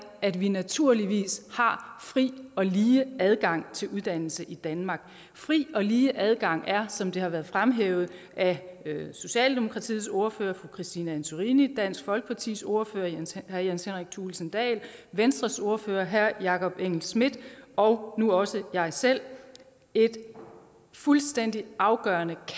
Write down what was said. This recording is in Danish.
at vi naturligvis har fri og lige adgang til uddannelse i danmark fri og lige adgang er som det har været fremhævet af socialdemokratiets ordfører fru christine antorini dansk folkepartis ordfører herre jens henrik thulesen dahl venstres ordfører herre jakob engel schmidt og nu også mig selv et fuldstændig afgørende